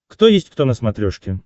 кто есть кто на смотрешке